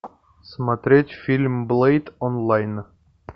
смотреть фильм блэйд онлайн